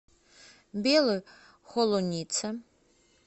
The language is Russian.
белой холунице